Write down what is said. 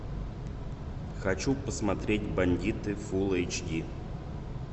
хочу посмотреть бандиты фулл эйч ди